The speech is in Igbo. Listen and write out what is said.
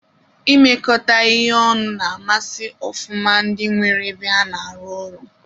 Imekọ ihe ọnụ na-amasi ofụma ndị nwere ebe a na-arụ ọrụ